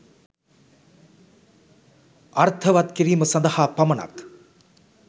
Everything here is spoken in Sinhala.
අර්ථවත් කිරීම සඳහා පමණක්